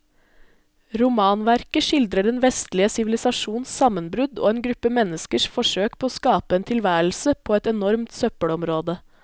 Romanverket skildrer den vestlige sivilisasjons sammenbrudd og en gruppe menneskers forsøk på å skape en tilværelse på et enormt søppelområde.